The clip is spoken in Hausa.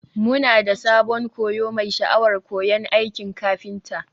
Muna da sabon koyo mai sha'awar koyon aikin kafinta.